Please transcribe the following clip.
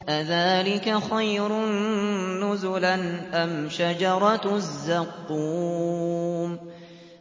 أَذَٰلِكَ خَيْرٌ نُّزُلًا أَمْ شَجَرَةُ الزَّقُّومِ